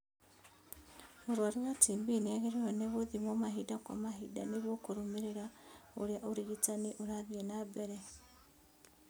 Mũrwaru wa TB nĩagĩrĩirwo nĩ gũthimwo mahinda kwa mahinda nĩguo kũrũmĩrĩra ũrĩa ũrigitani ũrathiĩ na mbere